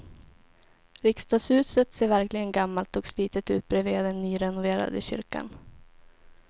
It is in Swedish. Riksdagshuset ser verkligen gammalt och slitet ut bredvid den nyrenoverade kyrkan.